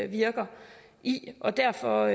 virker i og derfor